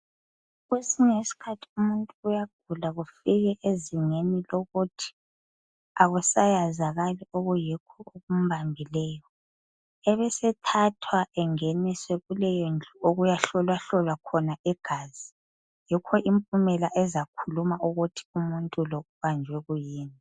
Kwesinye isikhathi umuntu uyagula kufike ezingeni lokuthi akusayazakali okuyikho okumbambileyo ebesethathwa engeniswe kuleyondlu okuyahlolwahlolwa khona igazi yikho impumela ezakhuluma ukuthi umuntu lo ubanjwe kuyini